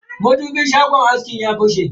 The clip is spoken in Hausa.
madubin shagon askin ya fashe.